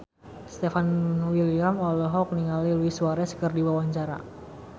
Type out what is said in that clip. Stefan William olohok ningali Luis Suarez keur diwawancara